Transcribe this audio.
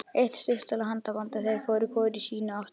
Eitt stuttaralegt handaband og þeir fóru hvor í sína áttina.